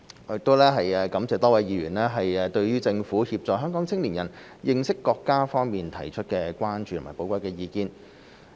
我亦感謝多位議員對政府協助香港青年人認識國家方面提出的關注和寶貴意見。